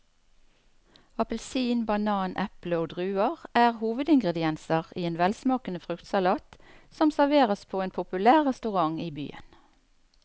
Appelsin, banan, eple og druer er hovedingredienser i en velsmakende fruktsalat som serveres på en populær restaurant i byen.